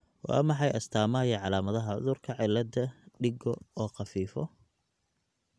Waa maxay astamaha iyo calaamadaha cudurka cilada digo oo khalifo?